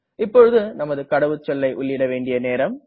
இப்போது நமது கடவுச்சொல்லை உள்ளிட வேண்டிய நேரம்